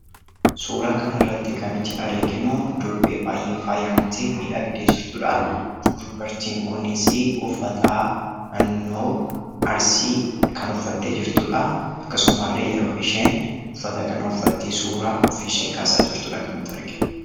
Suuraa kana irratti kan nuti arginu durbee baay'ee faayamtee miidhagdee jirtudha. Dubartiin kunisi uffata naannoo Arsii kan uffattee jirtu dha. Akkasuma illee yeroo isheen uffata kana uffattee suuraa ofiishee kaasaa jirtu dha kan nuti arginu.